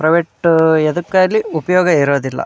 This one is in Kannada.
ಪ್ರೈವೇಟ್ ಎದಕಾಗ್ಲಿ ಉಪಯೋಗ ಇರೋದಿಲ್ಲಾ.